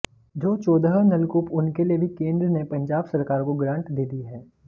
जो चौदह नलकूप उनके लिए भी केंद्र ने पंजाब सरकार को ग्रांट दे दी है